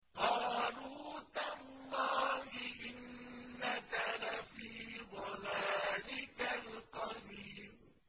قَالُوا تَاللَّهِ إِنَّكَ لَفِي ضَلَالِكَ الْقَدِيمِ